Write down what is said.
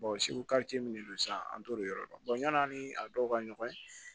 min don sisan an t'olu yɔrɔ dɔn yan'an ni a dɔw ka ɲɔgɔn ye